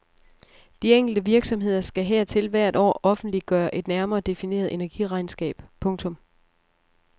De enkelte virksomheder skal hertil hvert år offentliggøre et nærmere defineret energiregnskab. punktum